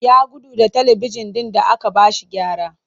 Ya gudu da talibijin ɗin da aka ba shi gyara